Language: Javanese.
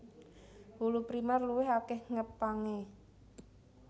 Wulu Primèr luwih akèh ngepangé